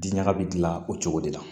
Di ɲaga bi gilan o cogo de la